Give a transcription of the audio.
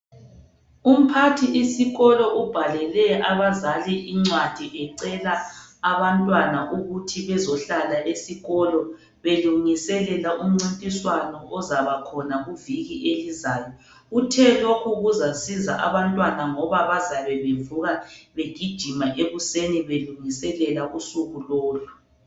Umphathi isikolo ubhalele abazali incwadi ecela abantwana ukuthi bezohlala esikolo belungiselela umncintiswano ozaba khona kuviki elizayo uthe lokhu kuzasiza abantwana ngoba bazabe bevuka begijima ekuseni belungiselela usuku lolu.